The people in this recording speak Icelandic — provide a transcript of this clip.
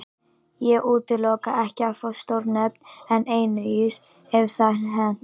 Ég útiloka ekki að fá stór nöfn en einungis ef það hentar.